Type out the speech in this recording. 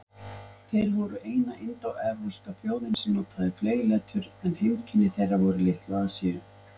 Þeir voru eina indóevrópska þjóðin sem notaði fleygletur, en heimkynni þeirra voru í Litlu-Asíu.